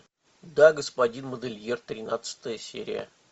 да господин модельер тринадцатая серия